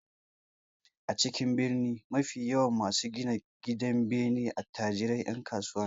A cikin birni mafi yawan masu gina gidanbene attajiran 'yan kasuwa ne